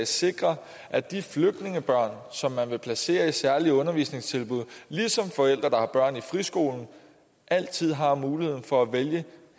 sikre at de flygtningebørn som man vil placere i særlige undervisningstilbud ligesom forældre der har børn i friskolen altid har muligheden for at vælge